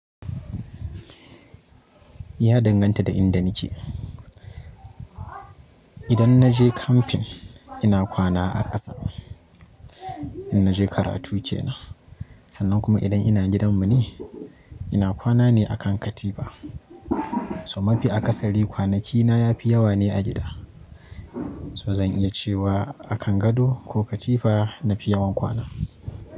Ya danganta da inda nake. Idan na je camping ina kwana a ƙasa, in naje karatu kenan, sannan kuma idan ina gidanmu ne ina kwana ne a kan katifa. So mafi akasari kwanaki na yafi yawa ne a gida. So zan iya cewa a kan gado ko katifa nafi yawan kwana.